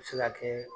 A bɛ se ka kɛ